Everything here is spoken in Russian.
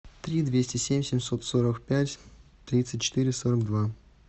три двести семь семьсот сорок пять тридцать четыре сорок два